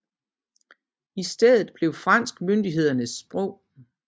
I stedet blev fransk myndighedernes sprog